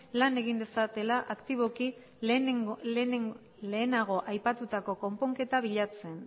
lan egin dezatela aktiboki lehenago aipatutako konponketa bilatzen